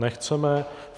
Nechceme.